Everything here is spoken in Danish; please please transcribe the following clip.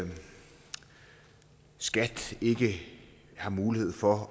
skat ikke har mulighed for